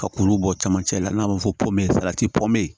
Ka kuru bɔ camancɛ la n'a ma fɔ pɔlati pɔmo